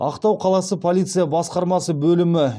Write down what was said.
ақтау қаласы полиция басқармасы бөлімі